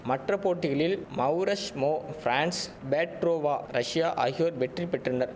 மற்ற போட்டிகளில் Mauresmo France Petrova Russia ஆகியோர் வெற்றி பெற்றனர்